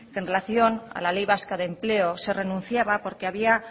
que en relación a la ley vasca de empleo se renunciaba porque